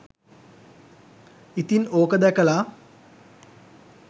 ඉතින් ඕක දැකලා